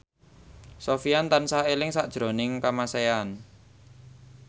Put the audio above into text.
Sofyan tansah eling sakjroning Kamasean